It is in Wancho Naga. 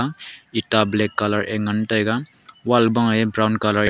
eta black colour e ngan taiga wall ma e brown colour .